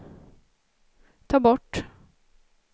ta bort